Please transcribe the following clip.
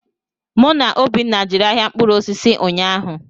Mụ na Obinna jere ahịa mkpụrụ osisi ụnyaahụ.